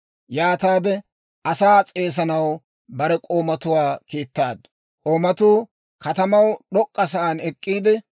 Yaataade asaa s'eesanaw bare k'oomatuwaa kiittaaddu. K'oomatuu katamaw d'ok'k'a sa'aan ek'k'iide,